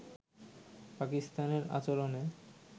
পাকিস্তানের আচরণে